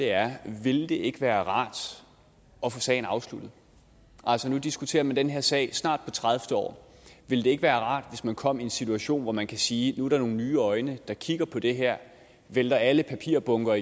er vil det ikke være rart at få sagen afsluttet altså nu diskuterer man den her sag på snart tredivete år vil det ikke være rart hvis man kom i en situation hvor man kan sige at nu er der nogle nye øjne der kigger på det her vender alle papirbunker